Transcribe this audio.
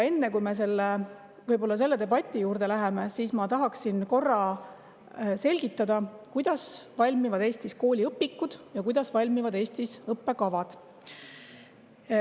Enne kui me selle debati juurde läheme, ma tahaksin korra selgitada, kuidas valmivad Eestis kooliõpikud ja kuidas valmivad õppekavad.